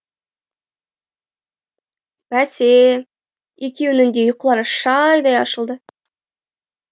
бәсе екеуінің де ұйқылары шайдай ашылды